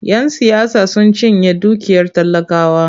Yan siyasa sun cinye dukiyar talakawa.